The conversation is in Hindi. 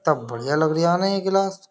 कितना बढ़िया लग रहिया न ये गिलास ।